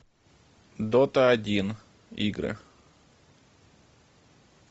дота один игры